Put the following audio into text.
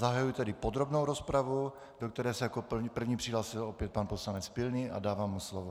Zahajuji tedy podrobnou rozpravu, do které se jako první přihlásil opět pan poslanec Pilný, a dávám mu slovo.